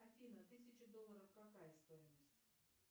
афина тысяча долларов какая стоимость